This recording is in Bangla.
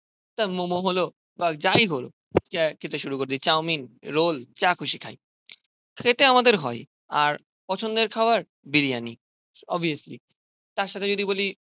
তা মোমো হলো বা যাই হলো খেতে শুরু করে দিয়েছে চাউমিন, রোল, যা খুশি খাই. খেতে আমাদের হয়. আর পছন্দের খাবার বিরিয়ানি. অভিয়াস্লি. তার সাথে যদি বলি